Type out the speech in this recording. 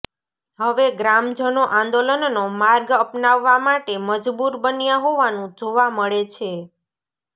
હવે ગ્રામજનો આંદોલનનો માર્ગ અપનાવવા માટે મજબૂર બન્યા હોવાનું જોવા મળે છે